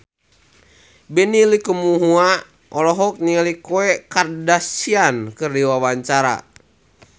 Benny Likumahua olohok ningali Khloe Kardashian keur diwawancara